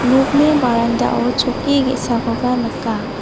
nokni barandao chokki ge·sakoba nika.